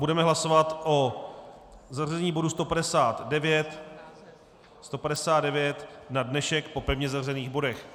Budeme hlasovat o zařazení bodu 159 na dnešek po pevně zařazených bodech.